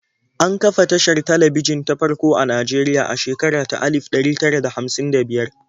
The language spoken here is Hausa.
An kafa tashar talabijin ta farko a Najeriya a shekara ta alif ɗari tara da hamsin da biyar.